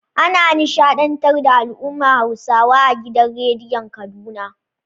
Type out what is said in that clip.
Ana nishaɗntar da al'ummar Hausawa a gidan radiyon Kaduna.